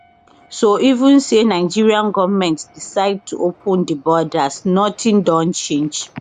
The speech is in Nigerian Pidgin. so even say nigerian goment decide to open di borders nothing don change